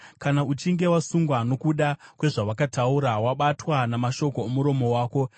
kana uchinge wasungwa nokuda kwezvawakataura, wabatwa namashoko omuromo wako,